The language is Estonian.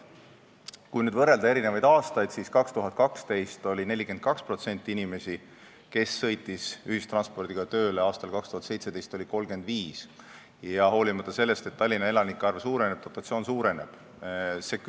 Kui nüüd aastaid võrrelda, siis aastal 2012 oli ühistranspordiga tööle sõitvaid inimesi 42% ja aastal 2017 oli neid 35%, hoolimata sellest, et Tallinna elanike arv ja dotatsioon suurenevad.